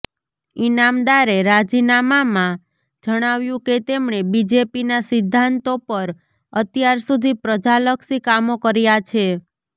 ઈનામદારે રાજીનામાંમાં જણાવ્યું કે તેમણે બીજેપીના સિદ્ધાંતો પર અત્યાર સુધી પ્રજાલક્ષી કામો કર્યા છે